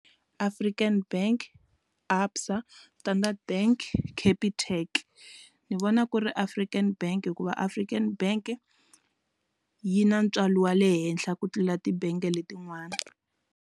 African bank ABSA Standard bank Capitec ni vona ku ri African bank hikuva African Bank yi na ntswalo wa le henhla ku tlula tibange letin'wana.